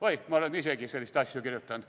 Oi, ma olen isegi selliseid asju kirjutanud.